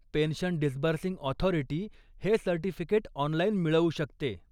Pension disbursing authority हे certificate online मिळवू शकते.